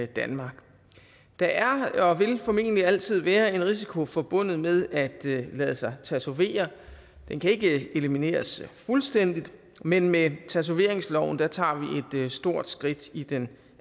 danmark der er og vil formentlig altid være en risiko forbundet med at lade sig tatovere den kan ikke elimineres fuldstændigt men med tatoveringsloven tager vi et stort skridt i den